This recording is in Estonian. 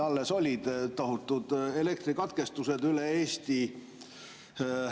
Alles olid tohutud elektrikatkestused üle Eesti.